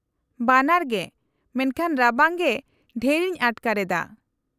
-ᱵᱟᱱᱟᱨ ᱜᱮ, ᱢᱮᱱᱠᱷᱟᱱ ᱨᱟᱵᱟᱝ ᱜᱮ ᱰᱷᱮᱨ ᱤᱧ ᱟᱴᱠᱟᱨ ᱮᱫᱟ ᱾